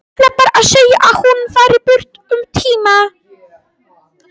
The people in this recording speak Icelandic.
Ætlar bara að segja að hún fari burt um tíma.